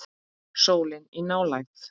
Sólin í nálægð.